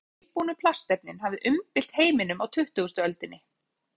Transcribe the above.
Má segja að tilbúnu plastefnin hafi umbylt heiminum á tuttugustu öldinni.